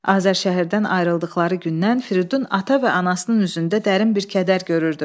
Azər şəhərdən ayrıldıqları gündən Firidun ata və anasının üzündə dərin bir kədər görürdü.